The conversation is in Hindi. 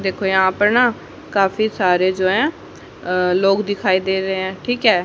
देखो यहां पे ना काफी सारे जो हैं अह लोग दिखाई दे रहे हैं ठीक है।